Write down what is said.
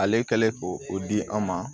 Ale kɛlen ko o di an ma